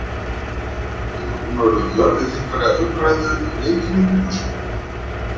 Hefur hún orðið vör við einhverja umræðu um leikinn í kringum sig?